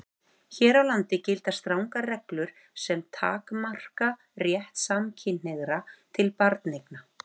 Hér á landi gilda strangar reglur sem takmarka rétt samkynhneigðra til barneigna.